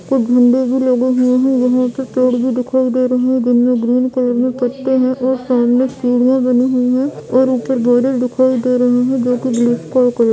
कुछ झंडा भी लगे हुए हैं यहां पे पेड़ भी दिखाई दे रहे हैं जिनमें ग्रीन कलर में पत्ते हैं और सामने सीढ़ियां बनी हुई है और ऊपर बादल दिखाई दे रहे हैं जो कि ब्लैक --